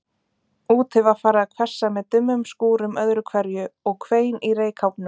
Úti var farið að hvessa með dimmum skúrum öðru hverju, og hvein í reykháfnum.